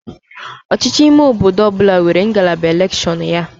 Ọchịchị ime obodo ọ bụla nwere ngalaba elekshọnụ ya